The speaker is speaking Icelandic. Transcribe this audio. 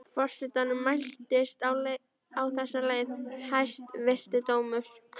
Forsetanum mæltist á þessa leið: Hæstvirti dómur!